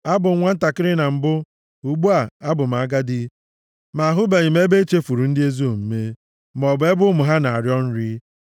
Abụ m nwantakịrị na mbụ, ugbu a, abụ m agadi, ma ahụbeghị m ebe e chefuru ndị ezi omume, maọbụ ebe ụmụ ha na-arịọ nri.